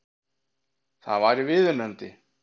Það væri viðunandi